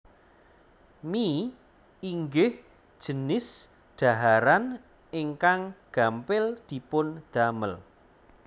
Mie inggih jinis dhaharan ingkang gampil dipun damel